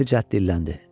Rəfizad dilləndi.